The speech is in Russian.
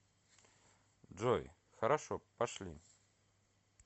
джой хорошо пошли